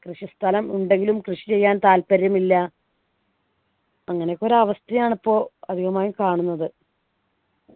കൃഷി സ്ഥലം ഉണ്ടെങ്കിലും കൃഷി ചെയ്യാൻ താല്പര്യമില്ല അങ്ങനെയൊക്കെ ഒരു അവസ്ഥയാണ് പ്പോ അധികമായും കാണുന്നത്